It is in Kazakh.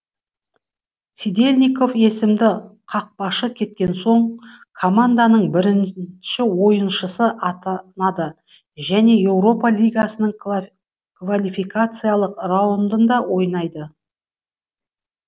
сидельников есімді қақпашы кеткен соң команданың бірінші ойншысы атанады және еуропа лигасының квалификациялық раундында ойнайды